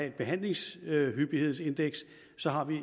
et behandlingshyppighedsindeks